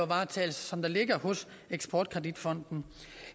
varetages af eksport kredit fonden